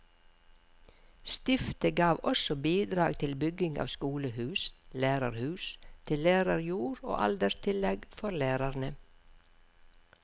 Stiftet gav også bidrag til bygging av skolehus, lærerhus, til lærerjord og alderstillegg for lærerne.